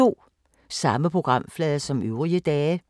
Samme programflade som øvrige dage